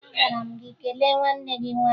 Agwara m gị kelee nwanne gị nwaanyị!